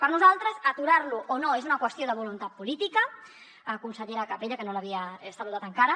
per nosaltres aturar lo o no és una qüestió de voluntat política consellera capella que no l’havia saludat encara